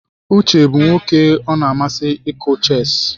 Uche bụ nwoke ọ na-amasị ịkụ chess.